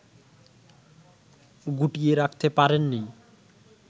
গুটিয়ে রাখতে পারেননি